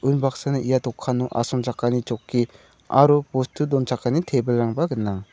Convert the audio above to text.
unbaksana ia dokano asongchakani chokki aro bostu donchakani tebilrangba gnang.